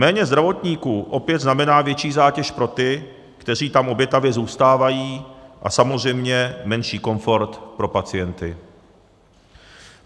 Méně zdravotníků opět znamená větší zátěž pro ty, kteří tam obětavě zůstávají, a samozřejmě menší komfort pro pacienty.